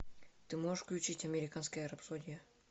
ты можешь включить американская рапсодия